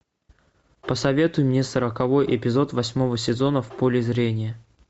посоветуй мне сороковой эпизод восьмого сезона в поле зрения